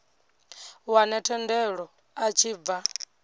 wane thendelo a tshi bva